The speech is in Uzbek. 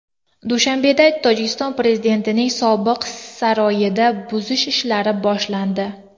Dushanbeda Tojikiston prezidentining sobiq saroyini buzish ishlari boshlandi.